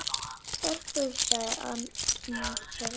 Stelpur sagði annar þeirra.